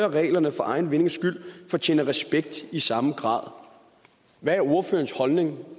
reglerne for egen vindings skyld fortjener respekt i samme grad hvad er ordførerens holdning